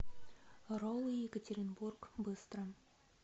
роллы екатеринбург быстро